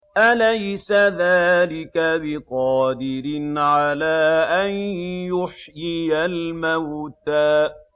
أَلَيْسَ ذَٰلِكَ بِقَادِرٍ عَلَىٰ أَن يُحْيِيَ الْمَوْتَىٰ